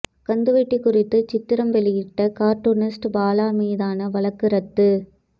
கந்துவட்டி குறித்து சித்திரம் வெளியிட்ட கார்ட்டூனிஸ்ட் பாலா மீதான வழக்கு ரத்து